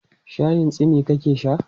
Shayin tsimi ka ke sha?